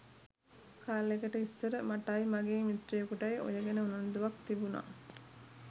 කාලෙකට ඉස්සර මටයි මගේ මිත්‍රයෙකුටයි ඔය ගැන උනන්දුවක් තිබුනා.